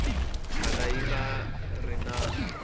kala yi nga ri ya